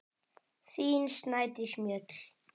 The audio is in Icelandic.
Þín, Snædís Mjöll.